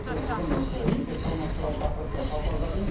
біз бүгін осы мектеп формасы туралы тақырыпты талқылап жатырмыз